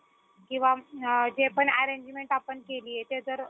किंवा जे पण arrangement आपण केलीय ते जर